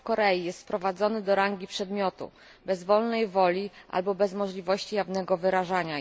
Człowiek w Korei jest sprowadzony do rangi przedmiotu, bez wolnej woli albo bez możliwości jej jawnego wyrażania.